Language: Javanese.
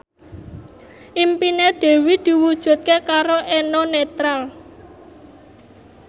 impine Dewi diwujudke karo Eno Netral